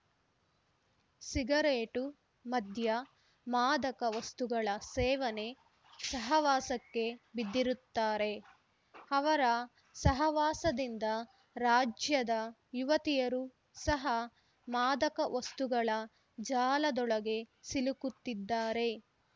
cigarette ಮದ್ಯ ಮಾದಕ ವಸ್ತುಗಳ ಸೇವನೆ ಸಹವಾಸಕ್ಕೆ ಬಿದ್ದಿರುತ್ತಾರೆ ಅವರ ಸಹವಾಸದಿಂದ ರಾಜ್ಯದ ಯುವತಿಯರು ಸಹ ಮಾದಕ ವಸ್ತುಗಳ ಜಾಲದೊಳಗೆ ಸಿಲುಕುತ್ತಿದ್ದಾರೆ